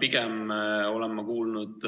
Pigem olen ma kuulnud